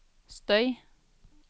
støy